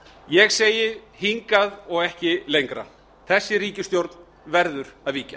ég segi hingað og ekki lengra þessi ríkisstjórn verður að víkja